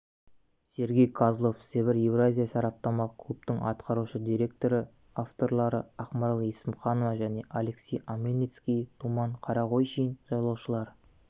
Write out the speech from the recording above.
сергей козлов сібір-еуразия сараптамалық клубтың атқарушы директоры авторлары ақмарал есімханова және алексей омельницкий думан қарағойшин жолаушылар